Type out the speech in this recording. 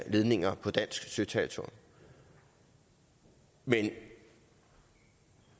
ledninger på dansk søterritorium men